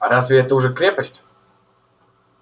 а разве это уже крепость